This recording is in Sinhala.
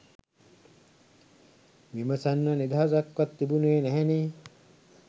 විමසන්න නිදහසක්වත් තිබුනේ නැහැනේ.